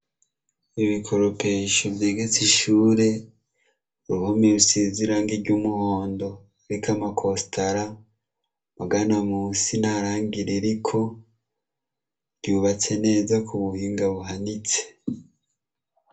Ibikoropesho vyegetse ishure, uruhome rusize iragi ry'umuhundo ruriko amakotsara, amagana munsi nta rangi ririko ryubatse neza kubuhinga buhanitse.